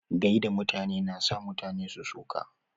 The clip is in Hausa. Gaida mutane na sa mutane su so ka.